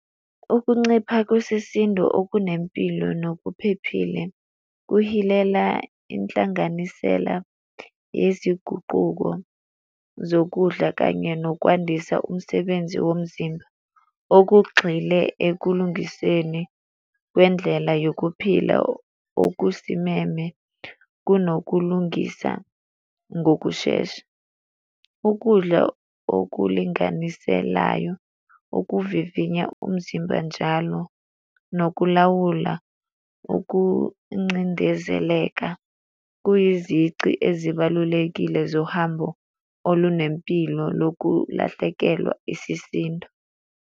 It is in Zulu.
Ukuncipha kwesisindo okunempilo nokuphephile kuhilela inhlanganisela yezinguquko zokudla kanye nokwandisa umsebenzi womzimba. Okugxile ekulungiseni kwendlela yokuphila okusimeme kunokulungisa ngokushesha. Ukudla okulinganiselayo ukuvivinya umzimba njalo nokulawula ukuncindezeleka kwiyizici ezibalulekile zohambo olunempilo lokulahlekelwa isisindo.